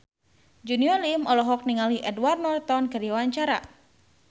Junior Liem olohok ningali Edward Norton keur diwawancara